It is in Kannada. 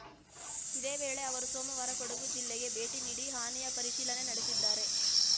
ಇದೇ ವೇಳೆ ಅವರು ಸೋಮವಾರ ಕೊಡಗು ಜಿಲ್ಲೆಗೆ ಭೇಟಿ ನೀಡಿ ಹಾನಿಯ ಪರಿಶೀಲನೆ ನಡೆಸಿದ್ದಾರೆ